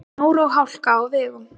Snjór og hálka á vegum